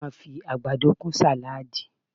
A máa fi àgbàdo kún sàláàdì